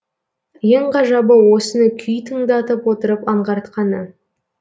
ең ғажабы осыны күй тыңдатып отырып аңғартқаны